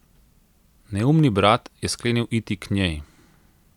Neumni brat je sklenil iti k njej.